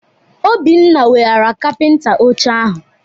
Obinna weghara kapịnta oche ahụ.